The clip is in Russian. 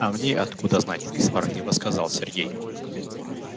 а мне откуда знать сварливо сказал сергей